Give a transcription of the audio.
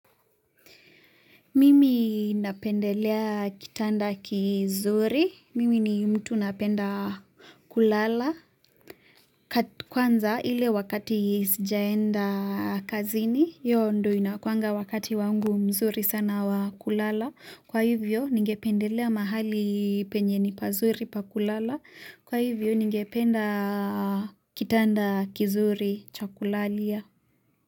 Mimi napendelea kitanda kizuri. Mimi ni mtu napenda kulala. Kwanza ile wakati sijaenda kazini. Yo ndio inakuanga wakati wangu mzuri sana wa kulala. Kwa hivyo ningependelea mahali penye ni pazuri pa kulala. Kwa hivyo ningependa kitanda kizuri cha kulalia.